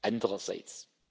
andererseits.